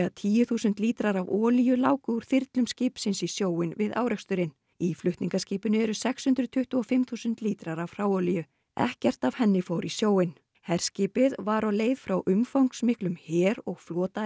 tíu þúsund lítrar af olíu láku úr þyrlum skipsins í sjóinn við áreksturinn í flutningaskipinu eru sex hundruð tuttugu og fimm þúsund lítrar af hráolíu ekkert af henni fór í sjóinn herskipið var á leið frá umfangsmiklum her og